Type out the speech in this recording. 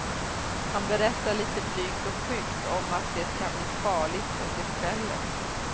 Han berättar litet blygt och skyggt om att det kan bli farligt under kvällen.